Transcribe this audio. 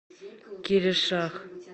киришах